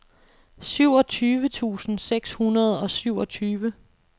syvogtyve tusind seks hundrede og syvogtyve